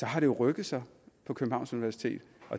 har det rykket sig på københavns universitet